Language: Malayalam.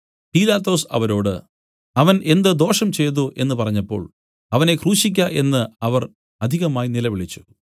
പീലാത്തോസ് അവരോട് അവൻ എന്ത് ദോഷം ചെയ്തു എന്നു പറഞ്ഞപ്പോൾ അവനെ ക്രൂശിയ്ക്ക എന്നു അവർ അധികമായി നിലവിളിച്ചു